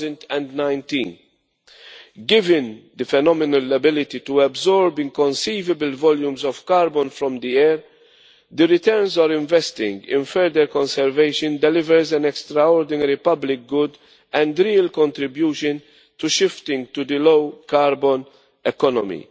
2019. Given its phenomenal ability to absorb inconceivable volumes of carbon from the air, the returns on investing in further conservation delivers an extraordinary public good and a real contribution to shifting to the low carbon economy.